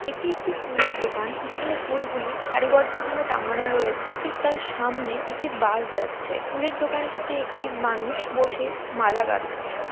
এটি একটি ফুলের দোকান। যেখানে ফুলগুলি সারিবদ্ধ ভাবে টাঙানো রয়েছে। ঠিক তার সামনে একটি বাস যাচ্ছে। ফুলের দোকানটিতে একটি মানুষ বসে মালা গাঁথছেন।